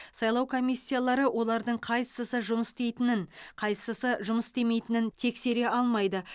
сайлау комиссиялары олардың қайсысы жұмыс істейтінін қайсысы жұмыс істемейтінін тексере алмайды